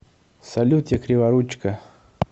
салют я криворучка